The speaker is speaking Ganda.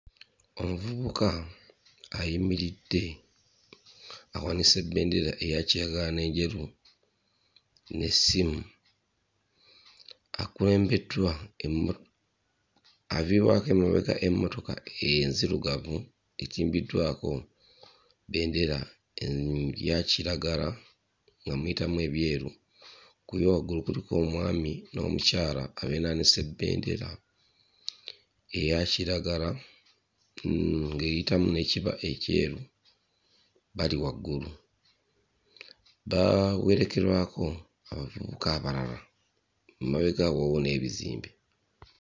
Omuvubuka ayimiridde awanise bbendera eya kiragala n'enjeru n'essimu. Akulembeddwa emmo aviirwako emabega emmotoka enzirugavu etimbiddwako bendera eya kiragala nga muyitamu ebyeru. Ku yo waggulu kuliko omwami n'omukyala abeenaanise bendera eya kiragala mm ng'eyitamu n'ekiba ekyeru bali waggulu. Bawerekerwako abavubuka abalala, emabega awo waliwo n'ebizimbe.